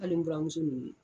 Hali n buranmuso nunnu.